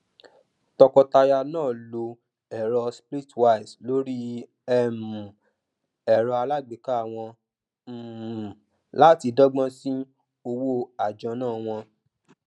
tọkọtaya náà lo ẹrọ splitwise lórí um ẹrọ aláàgbéká wọn um láti dọgbọn sí owó àjọná wọn